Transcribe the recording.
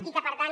i que per tant